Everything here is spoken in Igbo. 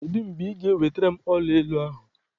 Kedụ mgbe ị ga ewelataram ọla olu ahụ?